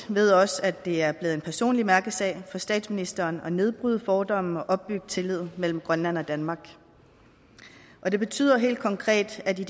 ved også at det er blevet en personlig mærkesag for statsministeren at nedbryde fordomme og opbygge tillid mellem grønland og danmark og det betyder helt konkret at vi